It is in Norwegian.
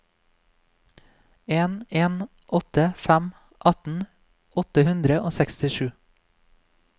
en en åtte fem atten åtte hundre og sekstisju